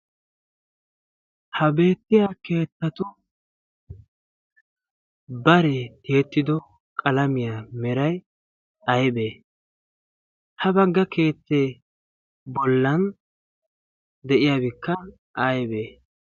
ha beettiya keettatu baree tiyettido qalamiyaa meray aybee ha bagga keettee bollan de'iyaabikka aybee